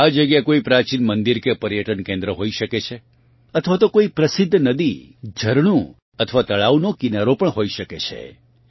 આ જગ્યા કોઇ પ્રાચીન મંદિર કે પર્યટન કેન્દ્ર હોઇ શકે છે અથવા તો કોઇ પ્રસિદ્ધ નદી ઝરણું અથવા તળાવનો કિનારો પણ હોઇ શકે છે